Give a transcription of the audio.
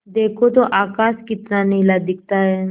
देखो तो आकाश कितना नीला दिखता है